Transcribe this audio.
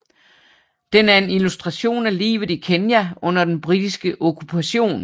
Den er en illustration af livet i Kenya under den britiske okkupation